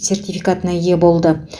сертификатына ие болды